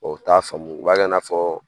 u t'a faamu u b'a kɛ n'a fɔ